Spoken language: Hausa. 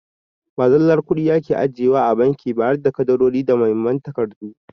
Ba zallar kuɗi ake ajiye wa a banki ba harda ƙadarori da Muhimman takardu.